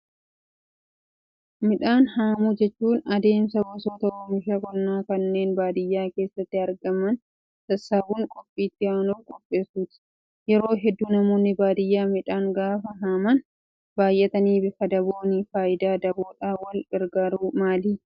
Midhaan haamuu jechuun adeemsa gosoota oomisha qonnaa kanneen baadiyyaa keessatti argaman sassaabuun qophii itti aanuuf qopheessuuti. Yeroo hedduu namoonni baadiyyaa midhaan gaafa haaman baay'atanii bifa dabooni. Fayidaan daboodhaan wal gargaaruu maali?